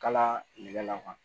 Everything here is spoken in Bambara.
Kala la